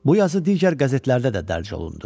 Bu yazı digər qəzetlərdə də dərc olundu.